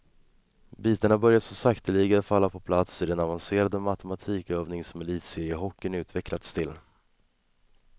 Bitarna börjar så sakteliga falla på plats i den avancerade matematikövning som elitseriehockeyn utvecklats till.